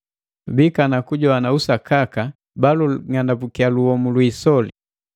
Biikana kujoana usakaka bajing'anambukiya luhomu lwiisoli.